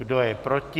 Kdo je proti?